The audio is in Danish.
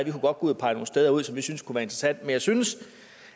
kunne gå ud og pege nogle steder ud som vi synes kunne være interessante men jeg synes